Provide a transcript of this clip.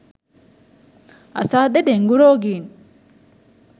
අසාධ්‍ය dengue රෝගීන්